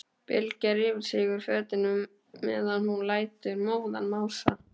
Bylgja rífur sig úr fötunum meðan hún lætur móðan mása.